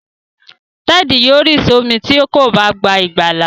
Ted yóò ri somi tí kò bá gbà ìgbàlà.